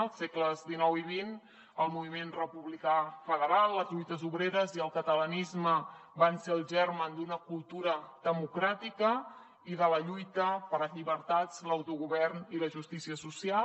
als segles xix i xxrepublicà federal les lluites obreres i el catalanisme van ser el germen d’una cultura democràtica i de la lluita per les llibertats l’autogovern i la justícia social